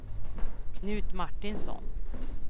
Knut Martinsson